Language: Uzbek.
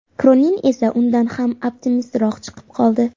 Kronin esa undan ham optimistroq chiqib qoldi.